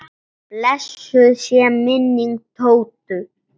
Blessuð sé minning Tótu.